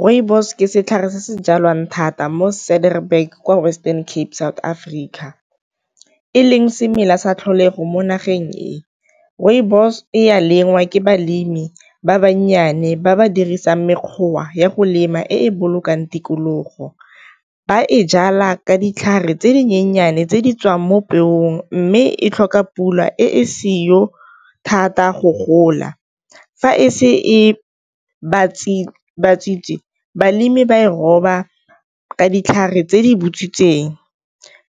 Rooibos ke setlhare se se jalwang thata mo kwa Western Cape South Africa, e leng semela sa tlholego mo nageng e rooibos e ya lengwa ke balemi ba bannyane ba ba dirisang ya go lema e e bolokang tikologo. Ba e jala ka ditlhare tse dinyenyane tse di tswang mo pelong, mme e tlhoka pula e seo thata go gola. Fa e se ba balemi ba e roba ka ditlhare tse di butswitseng,